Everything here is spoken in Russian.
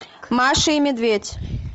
маша и медведь